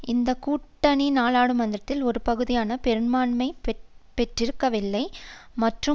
இந்த கூட்டணி நாடாளுமன்றத்தில் ஒரு பாதுகாப்பான பெரும்பான்மையை பெற்றிருக்கவில்லை மற்றும்